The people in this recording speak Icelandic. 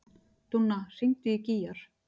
Dúnna, hringdu í Gígjar.